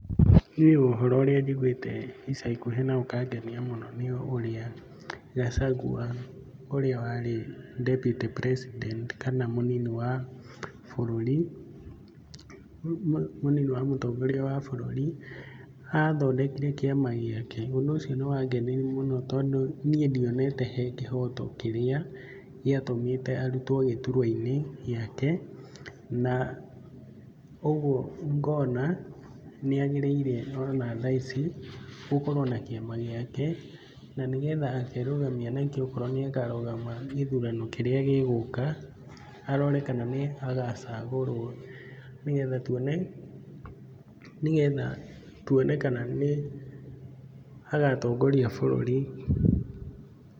Niĩ ũhoro ũrĩa njiguĩte ica ikuhĩ na ũkangenia mũno nĩ ũrĩa Gachagua ũrĩa warĩ deputy president kana mũnini wa bũrũri , mũnini wa mũtongoria wa bũrũri athondekire kĩama gĩake. Ũndũ ũcio nĩwangenirie mũno tondũ niĩ ndionete he kĩhoto kĩrĩa gĩatũmĩte arutwo gĩturwa-inĩ gĩake, na ũguo ngona nĩagĩrĩire ona thaa ici gũkorwo na kĩama gĩake na nĩgetha akerũgamia nakĩo okorwo nĩakarũgama gĩthurano kĩrĩa gĩgũka arore kana nĩagacagũrwo nĩgetha tuone nĩgetha tuone kana nĩagatongoria bũrũri.